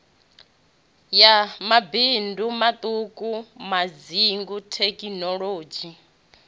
ya mabindu maṱuku madzingu thekinolodzhi